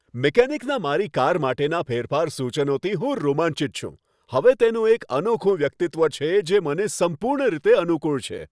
મિકેનિકના મારી કાર માટેના ફેરફાર સૂચનોથી હું રોમાંચિત છું. હવે તેનું એક અનોખું વ્યક્તિત્વ છે, જે મને સંપૂર્ણ રીતે અનુકૂળ છે.